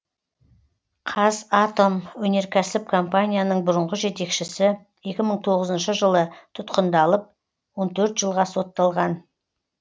қазатомөнеркәсіп компанияның бұрынғы жетекшісі екі мың тоғызыншы жылы тұтқындалып он төрт жылға сотталған